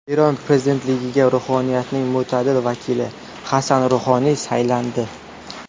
Eron prezidentligiga ruhoniyatning mo‘tadil vakili Hasan Ruhoniy saylandi.